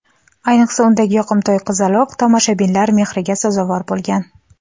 Ayniqsa, undagi yoqimtoy qizaloq tomoshabinlar mehriga sazovor bo‘lgan.